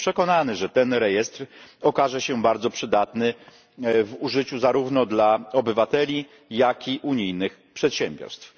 Jestem przekonany, że ten rejestr okaże się bardzo przydatny w użyciu zarówno dla obywateli, jak i unijnych przedsiębiorstw.